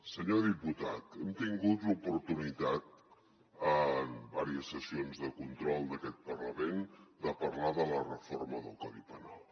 senyor diputat hem tingut l’oportunitat en diverses sessions de control d’aquest parlament de parlar de la reforma del codi penal